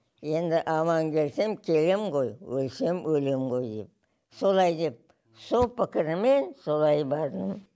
енді аман келсем келем ғой өлсем өлем ғой деп солай деп сол пікіріммен солай бардым